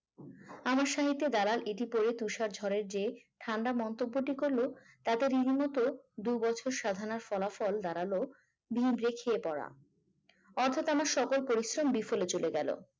আমার সঙ্গে একটি দাঁড়ান ইতি পরে তুষার ঝরে যে ঠান্ডা মন্তব্যটি করলো তাদের রীতিমতো দু'বছর সাধনার ফলাফল দাঁড়ালো ভিড় দেখিয়ে পড়া অর্থাৎ আমার সকল পরিশ্রম বিফলে চলে গেল